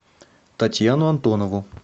татьяну антонову